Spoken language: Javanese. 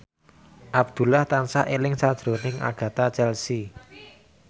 Abdullah tansah eling sakjroning Agatha Chelsea